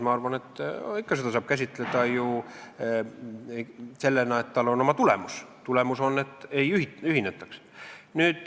Ma arvan, et seda saab ikka käsitleda ju sellena, et tal on oma tulemus ja see tulemus on, et ei ühinetaks.